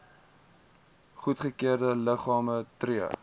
goedgekeurde liggame tree